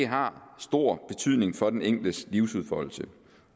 har stor betydning for den enkeltes livsudfoldelse